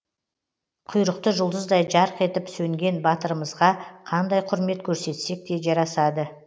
құйрықты жұлдыздай жарқ етіп сөнген батырымызға қандай құрмет көрсетсек те жарасады